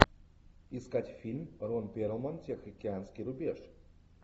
искать фильм рон перлман тихоокеанский рубеж